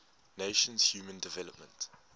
nations human development